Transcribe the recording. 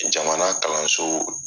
Jamana kalanso